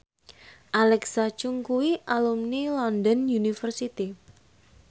Alexa Chung kuwi alumni London University